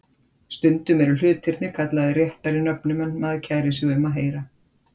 Stundum eru hlutirnir kallaðir réttari nöfnum en maður kærir sig um að heyra.